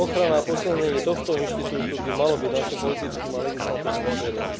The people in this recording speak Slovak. Ochrana a posilnenie tohto inštitútu by malo byť naším politickým a legislatívnym cieľom.